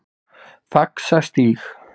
Faxastíg